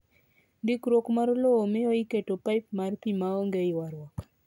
Ndikruok mar lowo miyo iketo paip mar pi maonge ywarruok..